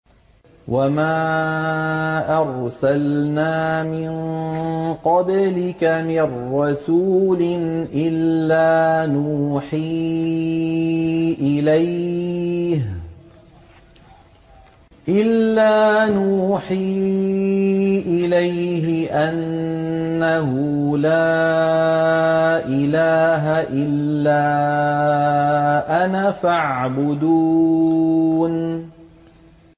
وَمَا أَرْسَلْنَا مِن قَبْلِكَ مِن رَّسُولٍ إِلَّا نُوحِي إِلَيْهِ أَنَّهُ لَا إِلَٰهَ إِلَّا أَنَا فَاعْبُدُونِ